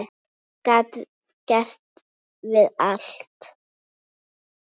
Afi gat gert við allt.